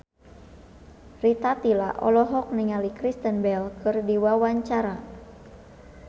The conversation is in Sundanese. Rita Tila olohok ningali Kristen Bell keur diwawancara